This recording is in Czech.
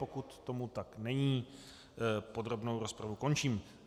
Pokud tomu tak není, podrobnou rozpravu končím.